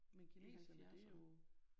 Men kineserne det jo